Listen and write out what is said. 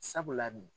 Sabula nin